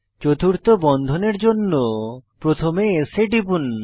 চতুর্থ বন্ধনের জন্য প্রথমে S এ টিপুন